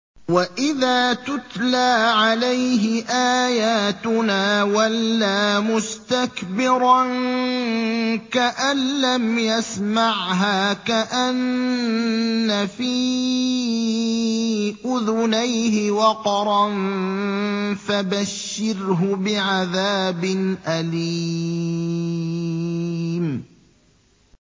وَإِذَا تُتْلَىٰ عَلَيْهِ آيَاتُنَا وَلَّىٰ مُسْتَكْبِرًا كَأَن لَّمْ يَسْمَعْهَا كَأَنَّ فِي أُذُنَيْهِ وَقْرًا ۖ فَبَشِّرْهُ بِعَذَابٍ أَلِيمٍ